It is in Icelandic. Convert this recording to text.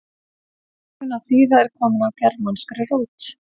sögnin að þýða er komin af germanskri rót